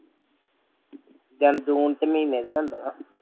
ਜੂਨ ਚ ਮਹੀਨੇ ਦਿਆਂ ਹੁੰਦੀਆਂ